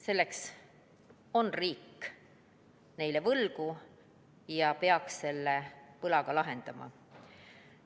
Seda on riik neile võlgu ja peaks selle võla ka tasuma.